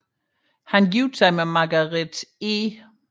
Han giftede sig med Margaret E